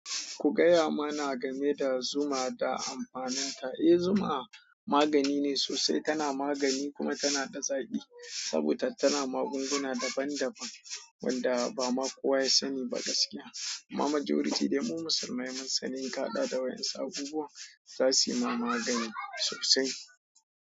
Ku gaya mana game da zuma da amfaninta. Eh, zuma magani ne sosai, tana magani kuma tana da zaki saboda tana magunguna daban daban wanda ba ma kowa ya sani ba gaskiya. Amma majority dai mu musulmai mun sani ka hada da wayansu abubuwa za suyi ma magani sosai.